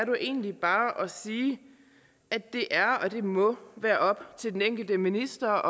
jo egentlig bare at sige at det er og må være op til den enkelte minister at